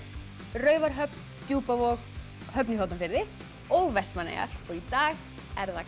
Raufarhöfn Djúpavog Höfn í Hornafirði og Vestmannaeyjar í dag er það